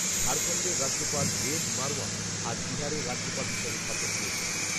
ঝাড়খণ্ডের রাজ্যপাল বেদ মারওয়া আজ বিহারের রাজ্যপাল হিসাবে শপথ নিয়েছেন